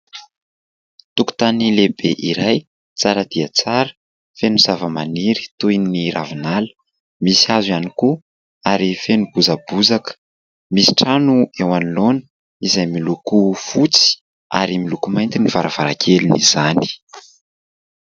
Tokotany lehibe iray tsara dia tsara feno zava-maniry toy ny ravinala, misy hazo ihany koa ary feno bozabozaka, misy trano eo anoloana izay miloko fotsy ary miloko mainty ny varavarankelin'izany.